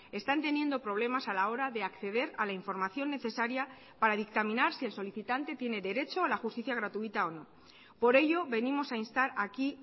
están teniendo problemas a la hora de acceder a la información necesaria para dictaminar si el solicitante tiene derecho a la justicia gratuita o no por ello venimos a instar aquí